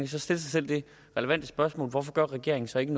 så stille sig selv det relevante spørgsmål hvorfor regeringen så ikke